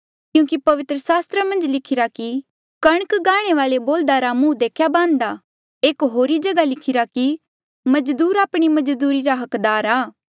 क्यूंकि पवित्र सास्त्र मन्झ लिखिरा कि कणक गांहणे वाले बोल्ह्दा रा मुंह देख्या बान्ह्दा एक होरी जगहा लिखिरा कि मजदूर आपणी मजदूरी रा हकदार आ